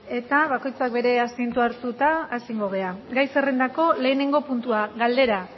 eta bakoitzak bere asientoa hartuta hasi egingo gara gai zerrendako lehenengo puntua galdera